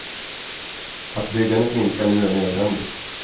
Att byggandet minskar nu är nödvändigt.